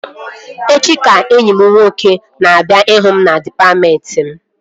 Echi ka enyi m nwoke na-abịa ịhụ m na dịpatmentị m